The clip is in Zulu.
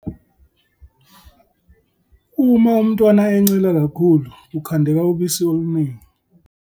Uma umntwana encela kakhulu, kukhandeka ubusi oluningi.